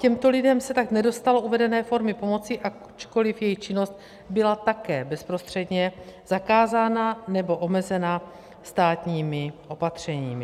Těmto lidem se tak nedostalo uvedené formy pomoci, ačkoliv jejich činnost byla také bezprostředně zakázána nebo omezena státními opatřeními.